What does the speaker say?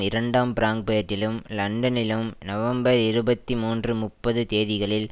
இரண்டாம் பிராங்பேர்ட்டிலும் லண்டனிலும் நவம்பர் இருபத்தி மூன்று முப்பது தேதிகளில்